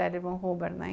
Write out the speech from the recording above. L. Ron Hubbard